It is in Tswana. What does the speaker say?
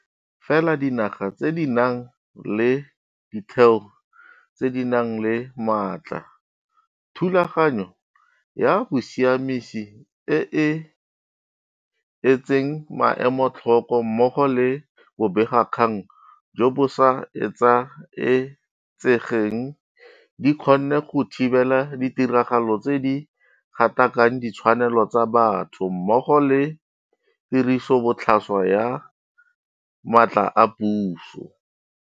Fela dinaga tse di nang le ditheo tse di nang le matla, thulaganyo ya bosiamisi e e etseng maemo tlhoko mmogo le bobegakgang jo bo sa etsaetsegeng di kgonne go thibela ditiragalo tse di gatakakang ditshwanelo tsa batho mmogo le tirisobotlhaswa ya matla a puso.